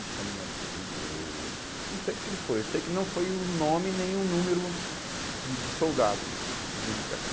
me chamou de narigudo, ou ou, não sei do que que foi, eu sei que não foi o nome nem o número de de soldado não, de identificação.